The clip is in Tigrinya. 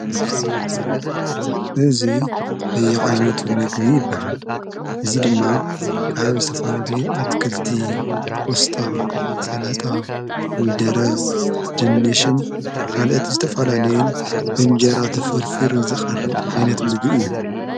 እዙይ በየዓይነቱ ምግቢ ይበሃል። እዙይ ድማ ካብ ዝተፍላልዩ ኣትክልቲ ቖስጣ ፣ ሰላጣ፣ ኮሚደረ፣ ድንሽን ካልእት ዝተፋላለይን ብእንጀራ ተፈርፊሩን ዝቐርብ ዓይነት ምግቢ እዩ።